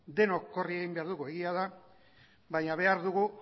denok korrika egin behar dugu egia da baina behar dugu